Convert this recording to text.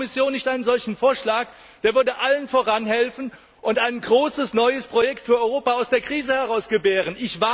Warum macht die Kommission nicht einen solchen Vorschlag? Der würde allen helfen und ein großes neues Projekt für Europa aus der Krise heraus gebären!